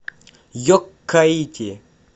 йоккаити